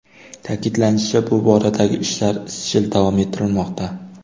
Ta’kidlanishicha, bu boradagi ishlar izchil davom ettirilmoqda.